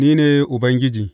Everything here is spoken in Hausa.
Ni ne Ubangiji.